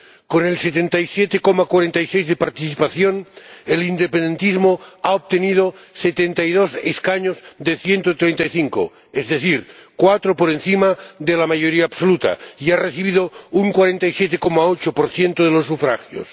Con el 77,46 de participación, el independentismo ha obtenido 72 escaños de 135, es decir, cuatro por encima de la mayoría absoluta, y ha recibido un 47,8 de los sufragios.